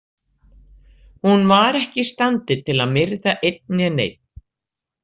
Hún var ekki í standi til að myrða einn né neinn.